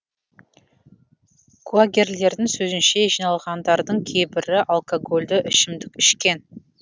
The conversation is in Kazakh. куәгерлердің сөзінше жиналғандардың кейбірі алкогольді ішімдік ішкен